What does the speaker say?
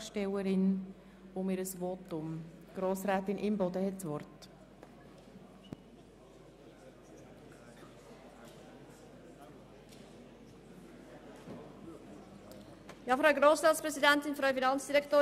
– Das Gesetz über die Besteuerung der Strassenfahrzeuge (BSFG) ist so zu ändern, dass die klimapolitischen Ziele des Bundes und gemäss internationalem Klimaabkommen von Paris im Verkehrsbereich im Kanton Bern erreicht werden.